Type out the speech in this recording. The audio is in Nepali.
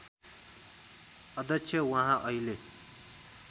अध्यक्ष वहाँ अहिले